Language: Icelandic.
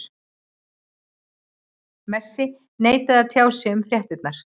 Messi neitaði að tjá sig um fréttirnar.